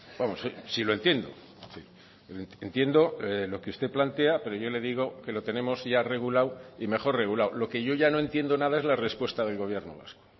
vamos sí lo entiendo entiendo lo que usted plantea pero yo le digo que lo tenemos ya regulado y mejor regulado lo que yo ya no entiendo nada es la respuesta del gobierno vasco